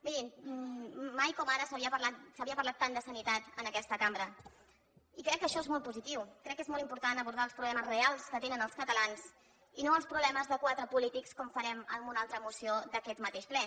mirin mai com ara s’havia parlat tant de sanitat en aquesta cambra i crec que això és molt positiu crec que és molt important abordar els problemes reals que tenen els catalans i no els problemes de quatre polítics com farem amb una altra moció d’aquest mateix ple